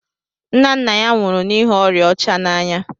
Nna nna ya nwụrụ n'ihi oria ọcha n'anya